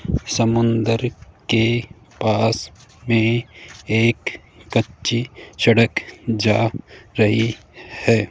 समुद्र के पास में एक कच्ची सड़क जा रही है।